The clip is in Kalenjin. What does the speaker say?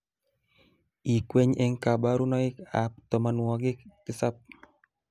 ikweny eng kabaranoikab tomonwokik tisap